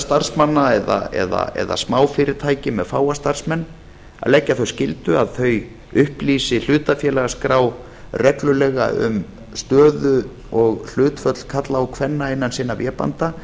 starfsmanna eða smá fyrirtæki með fáa starfsmenn að leggja þá skyldu að þau upplýsi hlutafélagaskrá reglulega um stöðu og hlutföll karla og kvenna innan sinna vébanda